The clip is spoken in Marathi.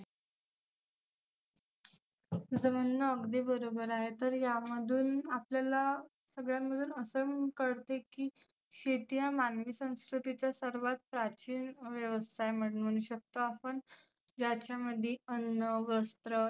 तुझ म्हणन अगदी बरोबर आहे. तर यामधुन आपल्याला सगळ्यांमधून असं कळतं की शेती हा मानवी संस्कृतीचा सर्वात प्राचीन व्यवसाय आपण म्हणु शकतो आपण. ज्याच्या मध्ये अन्न, वस्त्र